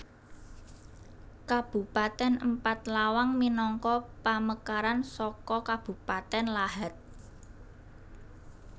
Kabupatèn Empat Lawang minangka pamekaran saka Kabupatèn Lahat